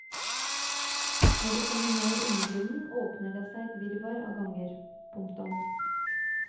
Når du kommer ned i undergrunnen åpner det seg et virvar av ganger. punktum